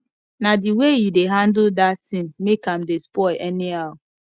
na the way you dey handle dat thing make am dey spoil anyhow